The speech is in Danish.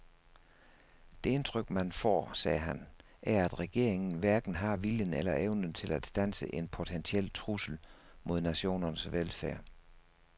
Det indtryk man får, sagde han, er at regeringen hverken har viljen eller evnen til at standse en potentiel trussel mod nationens velfærd.